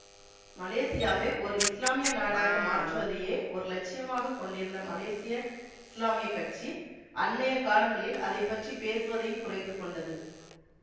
மலேசியாவை ஓர் இஸ்லாமிய நாடாக மாற்றுவதையே ஓர் இலட்சியமாகக் கொண்டிருந்த மலேசிய இஸ்லாமிய கட்சி அண்மைய காலங்களில் அதை பற்றி பேசுவதையும் குறைத்து கொண்டது